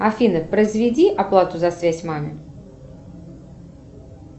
афина произведи оплату за связь маме